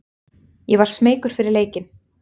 Ég var smeykur fyrir leikinn.